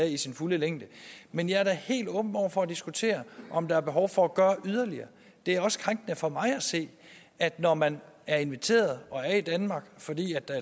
i sin fulde længde men jeg er da helt åben over for at diskutere om der er behov for at gøre yderligere det er også krænkende for mig at se når man er inviteret og er i danmark fordi der